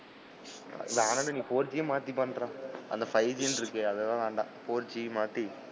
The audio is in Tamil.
வேணான்டா, நீ four g மாத்தி பன்றா, அந்த ப்ஃ ஜி ன்னு இருக்கே அது எல்லாம் வேண்டாம்.